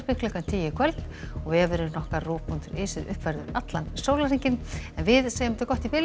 klukkan tíu í kvöld og vefurinn ruv punktur is er uppfærður allan sólarhringinn en við segjum þetta gott í bili